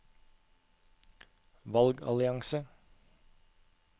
valgallianse